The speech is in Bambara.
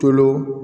Tolo